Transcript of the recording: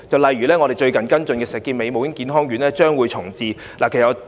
例如，我們最近跟進的石硤尾母嬰健康院重置個案。